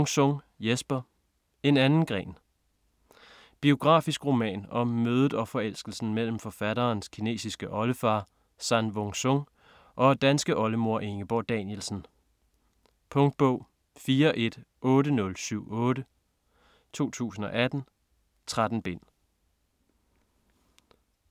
Wung-Sung, Jesper: En anden gren Biografisk roman om mødet og forelskelsen imellem forfatterens kinesiske oldefar San Wung Sung og danske oldemor Ingeborg Danielsen. Punktbog 418078 2018. 13 bind.